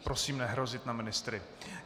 Prosím nehrozit na ministry.